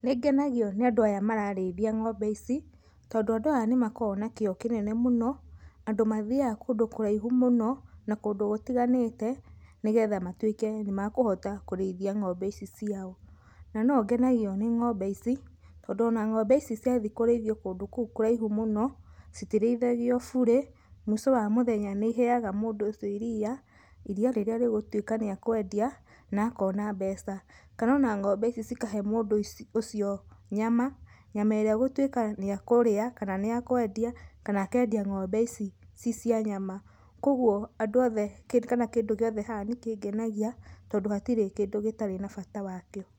Nĩngenagio nĩ andũ aya mararĩthia ng'ombe ici, tondũ andũ aya nĩ makoragwo na kĩyo kĩnene mũno, andũ mathiaga kũndũ kũraihu mũno, na kũndũ gũtiganĩte nĩgetha matwĩke nĩ makũhota kũrĩithia ng'ombe ici ciao, na no ngenagio nĩ ng'ombe ici, tondũ ona ng'ombe ici ciathiĩ kũrĩthio kũndũ kũu kũraihu mũno, citirĩithagio bure, mũico wa mũthenya nĩ iheyaga mũndũ ũcio iria, iria rĩrĩa rĩgũtuĩka rĩa kwendia, na akona mbeca, kana ona ng'ombe icio ikahe mũndu ũcio nyama, nyama ĩria egũtuika nĩ ekũria, kana nĩ ekwendia, kana akendia ng'ombe ici cicia nyama, kogwo andũ othe, kana kindũ gĩothe haha nĩkĩngenagia, tondũ hatirĩ kĩndũ gĩtarĩ na bata wakĩo.